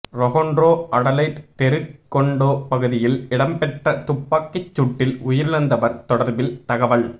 Toronto Adelaide தெரு condo பகுதியில் இடம்பெற்ற துப்பாக்கிச் சூட்டில் உயிரிழந்தவர் தொடர்பில் தகவல்